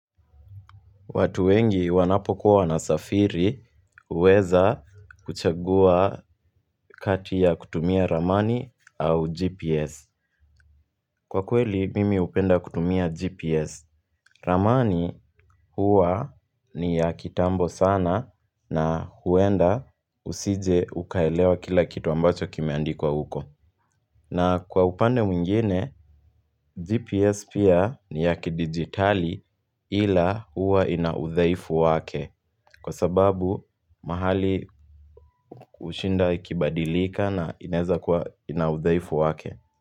Watu wengi wanapokuwa wasafiri uweza kuchagua kati ya kutumia ramani au GPS. Kwa kweli, mimi upenda kutumia GPS. Ramani huwa ni ya kitambo sana na huenda usije ukaelewa kila kitu ambacho kimeandikwa huko. Na kwa upande mwingine, GPS pia ni ya kidigitali ila huwa inaudhaifu wake. Kwa sababu mahali kushinda kibadilika na ineza kwa inaudhaifu wake.